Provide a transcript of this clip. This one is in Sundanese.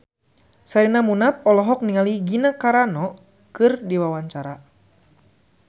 Sherina Munaf olohok ningali Gina Carano keur diwawancara